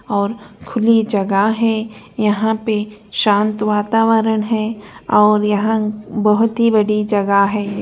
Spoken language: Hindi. और खुली जगह है यहाँ पे शांत वातावरण है और यहाँ बहोत ही बड़ी जगह है।